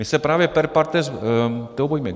My se právě per partes toho bojíme.